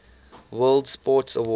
world sports awards